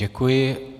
Děkuji.